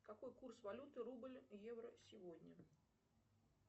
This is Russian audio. какой курс валюты рубль евро сегодня